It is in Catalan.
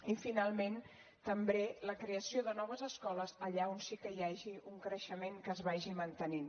i finalment també la creació de noves escoles allà on sí que hi hagi un creixement que es vagi mantenint